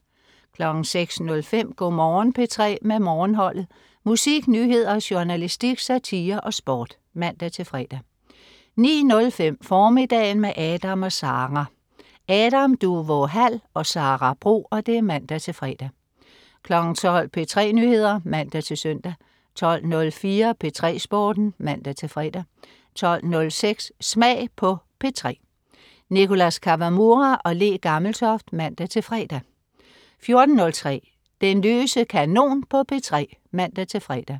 06.05 Go' Morgen P3 med Morgenholdet. Musik, nyheder, journalistik, satire og sport (man-fre) 09.05 Formiddagen med Adam & Sara. Adam Duvå Hall og Sara Bro (man-fre) 12.00 P3 Nyheder (man-søn) 12.04 P3 Sporten (man-fre) 12.06 Smag på P3. Nicholas Kawamura/Le Gammeltoft (man-fre) 14.03 Den løse kanon på P3 (man-fre)